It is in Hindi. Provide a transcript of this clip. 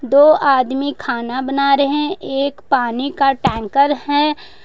दो आदमी खाना बना रहे हैं एक पानी का टैंकर है।